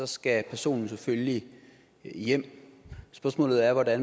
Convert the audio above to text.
skal personen selvfølgelig hjem spørgsmålet er hvad